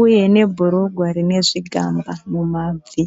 uye nebhurugwa rine zvigamba mumabvi.